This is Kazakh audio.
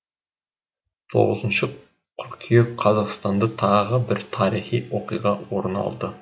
тоғызыншы қыркүйек қазақстанда тағы бір тарихи оқиға орын алды